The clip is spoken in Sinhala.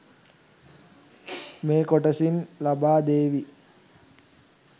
මේ කොටසින් ලබා දේවි